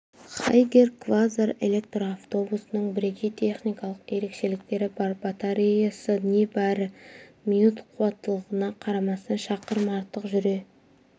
хайгер квазар электр автобусының бірегей техникалық ерекшеліктері бар батареясы небары минут қуатталғанына қарамастан шақырым артық жүре